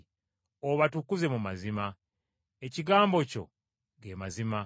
Obatukuze mu mazima; ekigambo kyo ge mazima.